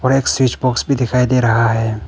एक switch box भी दिखाई दे रहा है।